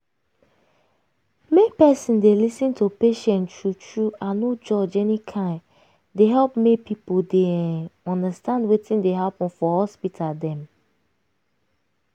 make peson dey lis ten to patient true true and no judge any kain dey help make pipo dey um undastand wetin dey happen for hospital dem.